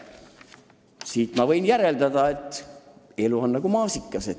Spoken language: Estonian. Siit ma võin järeldada, et elu on meil nagu maasikas.